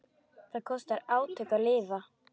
Það kostar átök að lifa.